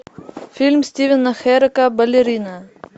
фильм стивена херека балерина